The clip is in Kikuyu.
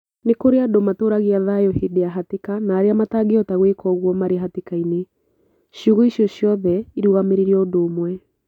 Nĩ kũrĩ andũ matũũragia thayũ hĩndĩ ya hatĩka na arĩa matangĩhota gwĩka uguo marĩ hatĩkainĩ. Ciugo icio ciothe irũgamĩrĩire ũndũ ũmwe.